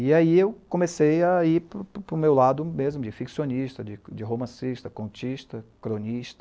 E aí eu comecei a ir para o meu lado mesmo, de ficcionista, de romancista, contista, cronista.